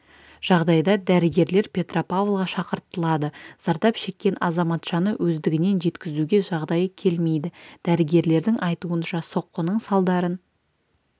жағдайда дәрігерлер петропавалға шақыртылады зардап шеккен азаматшаны өздігінен жеткізуге жағдайы келмейді дәрігерлердің айтуынша соққының салдарын